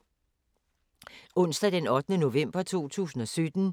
Onsdag d. 8. november 2017